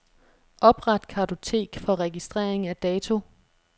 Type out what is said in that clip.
Opret kartotek for registrering af dato.